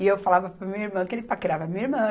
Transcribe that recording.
E eu falava para minha irmã que ele paquerava a minha irmã.